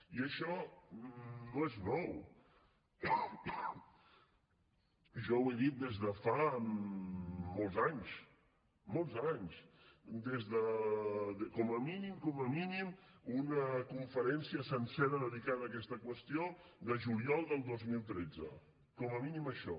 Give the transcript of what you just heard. i això no és nou jo ho he dit des de fa molts anys molts anys des de com a mínim com a mínim una conferència sencera dedicada a aquesta qüestió de juliol del dos mil tretze com a mínim això